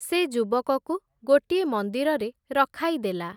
ସେ ଯୁବକକୁ ଗୋଟିଏ ମନ୍ଦିରରେ ରଖାଇଦେଲା ।